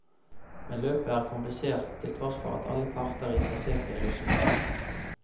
Men løpet er komplisert, til tross for at alle parter er interessert i en løsning.